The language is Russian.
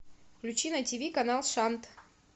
включи на тв канал шант